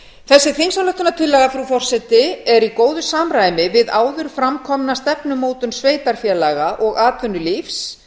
þessi þingsályktunartillaga frú forseti er í góðu samræmi við áður fram komna stefnumótun sveitarfélaga og atvinnulífs